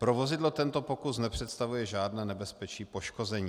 Pro vozidlo tento pokus nepředstavuje žádné nebezpečí poškození.